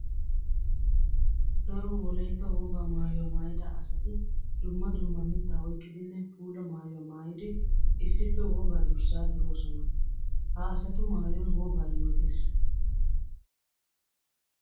Daro wolaytta wogaa maayuwa maayidda asatti dumma dumma mitta oyqqiddinne puula maayuwa maayiddi issippe wogaa durssa durossonna. Ha asaatu maayoy wogaa yootes.